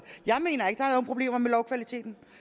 jeg mener ikke at problemer med lovkvaliteten